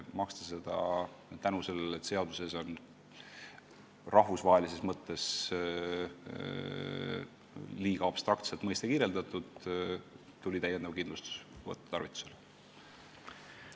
Kuna seaduses on mõistet rahvusvahelises mõttes liiga abstraktselt kirjeldatud, tuli täiendavad kindlustuslepingud tarvitusele võtta.